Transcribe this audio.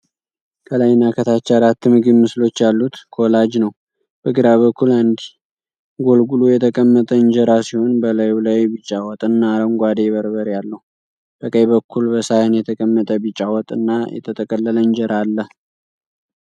ከላይና ከታች አራት የምግብ ምስሎች ያሉት ኮላጅ ነው። በግራ በኩል አንድ ጎልጉሎ የተቀመጠ እንጀራ ሲሆን በላዩ ላይ ቢጫ ወጥና አረንጓዴ በርበሬ አለው። በቀኝ በኩል በሳህን የተቀመጠ ቢጫ ወጥ እና የተጠቀለለ እንጀራ አለ።